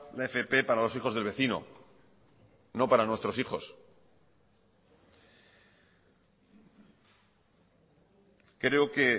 la fp para los hijos del vecino no para nuestros hijos creo que